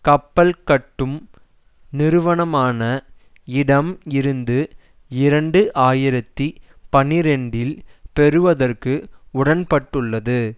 கப்பல்கட்டும் நிறுவனமான இடம் இருந்து இரண்டு ஆயிரத்தி பனிரெண்டில் பெறுவதற்கு உடன்பட்டுள்ளது